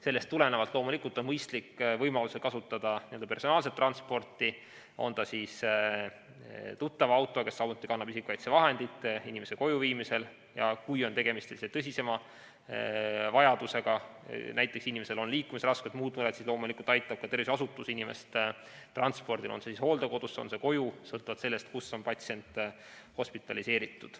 Sellest tulenevalt on loomulikult mõistlik võimaluse korral kasutada personaalset transporti, ka tuttava autot, kusjuures tuttav kannab isikukaitsevahendeid inimese koju viimisel, ja kui on tegemist tõsisema vajadusega, näiteks inimesel on liikumisraskused või muud mured, siis loomulikult aitab ka tervishoiuasutus inimest transpordil kas hooldekodusse või koju, sõltuvalt sellest, kust on patsient hospitaliseeritud.